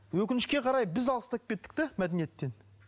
өкінішке қарай біз алыстап кеттік те мәдениеттен